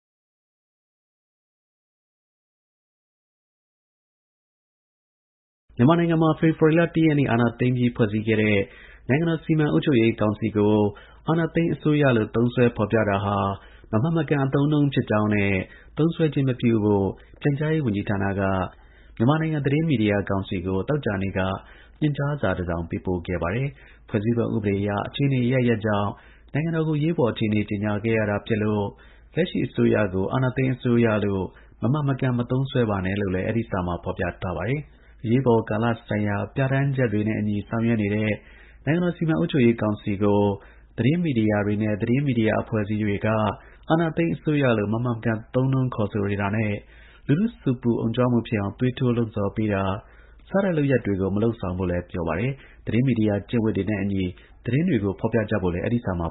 မြန်မာနိုင်ငံမှာ ဖေဖော်ဝါရီ ၁ ရက်နေ့ အာဏာသိမ်းပြီး ဖွဲ့စည်းခဲ့တဲ့ နိုင်ငံတော် စီမံအုပ်ချုပ်ရေးကောင်စီကို အာဏာသိမ်းအစိုးရလို့ သုံးစွဲဖော်ပြတာဟာ မမှန်မကန် အသုံးအနှုန်းဖြစ်ကြောင်းနဲ့ သုံးစွဲခြင်းမပြုဖို့ ပြန်ကြားရေးဝန်ကြီးဌာနက မြန်မာနိုင်ငံ သတင်းမီဒီယာ ကောင်စီကို သောကြာနေ့က ညွှန်ကြားစာ တစောင်ပေးပို့ခဲ့ပါတယ်။ ဖွဲ့စည်းပုံ အခြေခံ ဥပဒေအရ အခြေအနေအရပ်ရပ်ကြောင့် နိုင်ငံတော် ကို အရေးပေါ် အခြေအနေကြေညာခဲ့ရတာဖြစ်လို့ လက်ရှိ အစိုးရကို အာဏာသိမ်းအစိုးရလို့ မမှန်မကန် မသုံးစွဲပါနဲ့လို့လည်း အဲဒီ စာမှာ ဖော်ပြထားပါတယ်။ သတင်းမီဒီယာတွေနဲ့ သတင်းမီဒီယာ အဖွဲ့အစည်းတွေအနေနဲ့ အရေးပေါ်ကာလ ဆိုင်ရာ ပြဌာန်းချက်တွေနဲ့အညီ ဆောင်ရွက်နေတဲ့ နိုင်ငံတော် စီမံအုပ်ချုပ်ရေးကောင်စီကို အာဏာသိမ်းအစိုးရလို့ မမှန်မကန် သုံးနှုန်းခေါ်ဆိုတာနဲ့ လူထုဆူပူအုံကြွမှုဖြစ်အောင် သွေးထိုး လှုံ့ဆော်ပေးတာ စတဲ့ လုပ်ရပ်တွေကို မလုပ်ဆောင်ဖို့လည်း ပြောပါတယ်။။ သတင်းမီဒီယာ ကျင့်ဝတ်တွေနဲ့ အညီ သတင်းတွေကို ဖော်ပြကြဖို့လည်း အဲဒီ စာမှာ